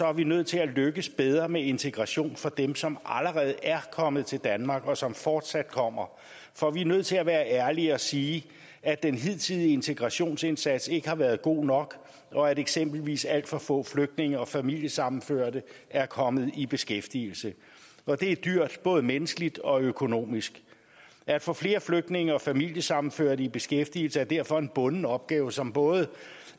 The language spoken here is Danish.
er vi nødt til at lykkes bedre med integrationen for dem som allerede er kommet til danmark og som fortsat kommer for vi er nødt til at være ærlige og sige at den hidtidige integrationsindsats ikke har været god nok og at eksempelvis alt for få flygtninge og familiesammenførte er kommet i beskæftigelse og det er dyrt både menneskeligt og økonomisk at få flere flygtninge og familiesammenførte i beskæftigelse er derfor en bunden opgave som både